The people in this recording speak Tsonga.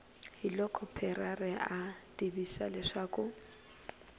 hiloko parreira a tivisa leswaku